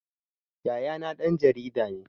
Yayana ɗan jarida ne